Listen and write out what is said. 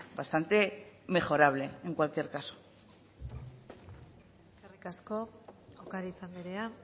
bastante mejorable en cualquier caso eskerrik asko ocariz anderea